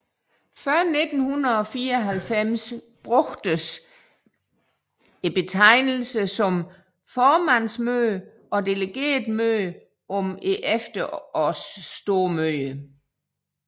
Før 1994 brugtes betegnelser som formandsmøde og delegeretmøde om efterårsstormøderne